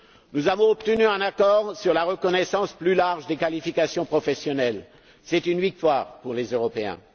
Nous avons obtenu un accord sur la reconnaissance plus large des qualifications professionnelles, une victoire pour les Européens.